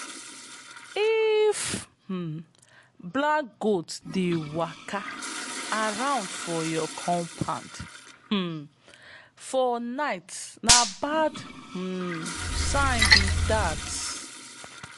if um black goat dey waka around for your compound um for night na bad um sign be that.